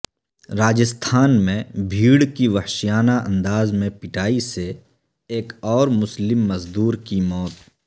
راجستھان میں بھیڑ کی وحشیانہ انداز میں پٹائی سے ایک اور مسلم مزدور کی موت